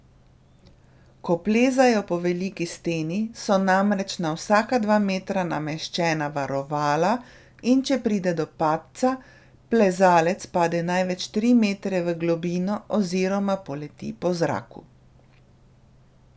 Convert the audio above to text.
Ko plezajo po veliki steni, so namreč na vsaka dva metra nameščena varovala, in če pride do padca, plezalec pade največ tri metre v globino oziroma poleti po zraku.